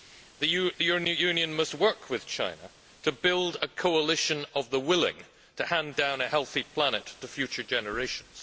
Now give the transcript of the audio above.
The Union must work with China to build a coalition of the willing to hand down a healthy planet to future generations.